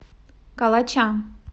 калача